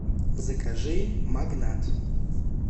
закажи магнат